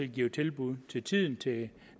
giver tilbud til tiden til